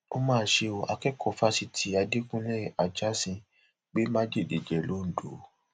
ó mà ṣe o akẹkọọ fásitì adẹkùnlé ajásín gbé májèlé jẹ londo